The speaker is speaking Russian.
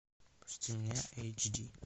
пусти меня эйч ди